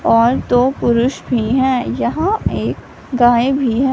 और दो पुरुष भी है यहां एक गाय भी हैं।